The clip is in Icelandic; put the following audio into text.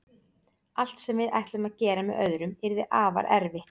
Allt sem við ætlum að gera með öðrum yrði afar erfitt.